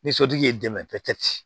Ni sotigi y'i dɛmɛ